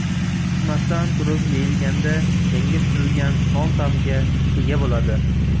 Pishmasdan turib yeyilganda, yangi pishirilgan non ta’miga ega bo‘ladi.